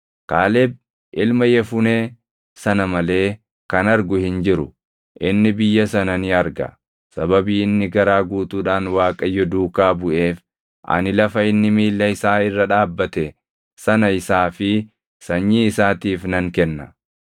Kaaleb ilma Yefunee sana malee kan argu hin jiru. Inni biyya sana ni arga; sababii inni garaa guutuudhaan Waaqayyo duukaa buʼeef ani lafa inni miilla isaa irra dhaabbate sana isaa fi sanyii isaatiif nan kenna.”